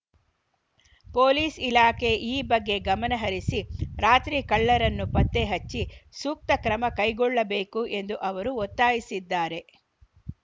police ಇಲಾಖೆ ಈ ಬಗ್ಗೆ ಗಮನಹರಿಸಿ ರಾತ್ರಿ ಕಳ್ಳರನ್ನು ಪತ್ತೆ ಹಚ್ಚಿ ಸೂಕ್ತ ಕ್ರಮಕೈಗೊಳ್ಳಬೇಕು ಎಂದು ಅವರು ಒತ್ತಾಯಿಸಿದ್ದಾರೆ